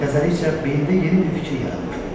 Təzəlikcə beynində yeni bir fikir yaranmışdı.